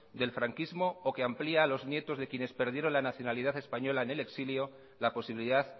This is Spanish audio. del franquismo o que amplía a los nietos de quienes perdieron la nacionalidad española en el exilio la posibilidad